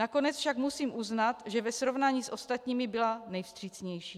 Nakonec však musím uznat, že ve srovnání s ostatními byla nejvstřícnější.